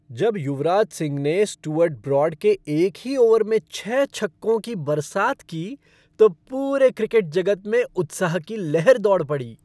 जब युवराज सिंह ने Stuart Broad के एक ही ओवर में छह छक्कों की बरसात की, तो पूरे क्रिकेट जगत में उत्साह की लहर दौड़ पड़ी।